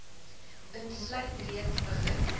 insluit reeds begin